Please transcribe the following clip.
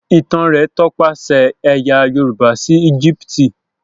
Ìtàn rẹ tọpasẹ ẹyà yorùbá sí Egipti.